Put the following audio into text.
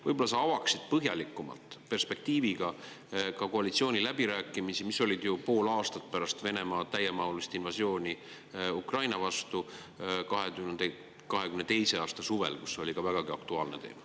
Võib-olla sa avad põhjalikuma perspektiiviga ka koalitsiooniläbirääkimisi, mis olid 2022. aasta suvel – pool aastat pärast Venemaa täiemahulist invasiooni Ukrainasse – ja kus see oli ka vägagi aktuaalne teema.